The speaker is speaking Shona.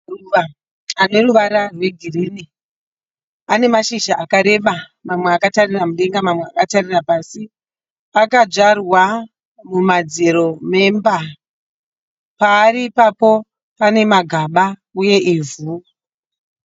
Maruva aneruva rwegirini. Ane mashizha akareba mamwe akatarira mudenga mamwe akatarira pasi. Akadyarwa mumadziro memba. Paari ipapo pane magaba uye ivhu.